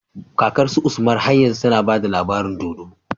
Kakar su usman har yanzu tAna bada labarin dodo